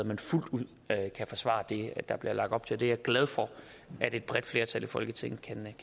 man fuldt ud kan forsvare det der bliver lagt op til det er jeg glad for at et bredt flertal i folketinget kan